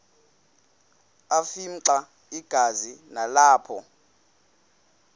afimxa igazi nalapho